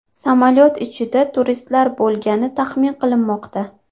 Samolyot ichida turistlar bo‘lgani taxmin qilinmoqda.